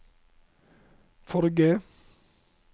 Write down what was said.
forrige